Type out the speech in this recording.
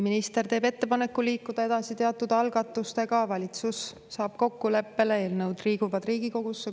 Minister teeb ettepaneku liikuda edasi teatud algatustega, valitsus saab kokkuleppele, eelnõud liiguvad Riigikogusse.